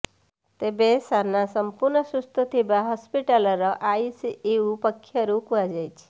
ତେବେ ସାନା ସମ୍ପୂର୍ଣ୍ଣ ସୁସ୍ଥ ଥିବା ହସ୍ପିଟାଲର ଆଇସିୟୁ ପକ୍ଷରୁ କୁହାଯାଇଛି